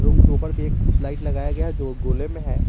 उनके ऊपर भी एक लाइट लगाया गया है जो गोले में है।